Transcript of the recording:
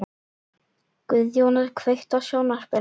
Guðjóna, kveiktu á sjónvarpinu.